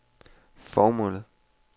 formålet